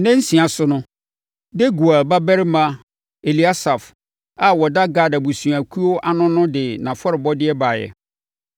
Ne nna nsia so no, Deguel babarima Eliasaf a ɔda Gad abusuakuo ano no de nʼafɔrebɔdeɛ baeɛ.